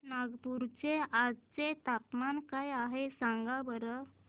नागपूर चे आज चे तापमान काय आहे सांगा बरं